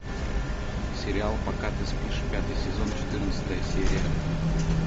сериал пока ты спишь пятый сезон четырнадцатая серия